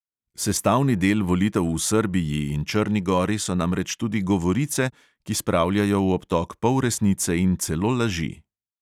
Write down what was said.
Sestavni del volitev v srbiji in črni gori so namreč tudi govorice, ki spravljajo v obtok polresnice in celo laži.